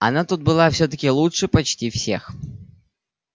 она тут была всё-таки лучше почти всех